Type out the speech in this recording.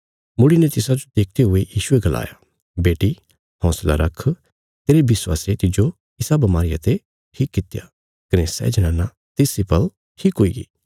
मुड़ीने तिसाजो देखदे हुये यीशुये गलाया बेटी हौंसला रख तेरे विश्वासे तिज्जो इसा बमारिया ते ठीक कित्या कने सै जनाना तिस इ पल ठीक हुईगी